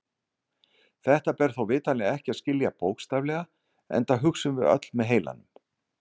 Þetta ber þó vitanlega ekki að skilja bókstaflega enda hugsum við öll með heilanum.